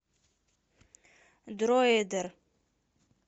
дроидер